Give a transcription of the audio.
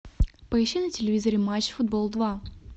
поищи на телевизоре матч футбол два